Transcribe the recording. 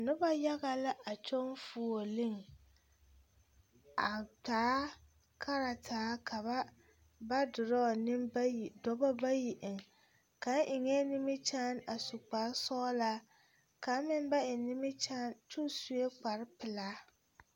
Noba yaga la a kyɔŋ fuolii a taa kartaa ka ba ba dorɔɔ nenbayi dɔba bayi eŋ ka kaŋa eŋɛɛ nimikyaane su kparesɔglaa kaŋ meŋ ba eŋ nimikyaane kaŋ sue kparepelaa.